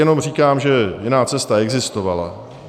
Jenom říkám, že jiná cesta existovala.